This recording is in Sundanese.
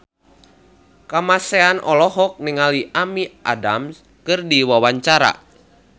Kamasean olohok ningali Amy Adams keur diwawancara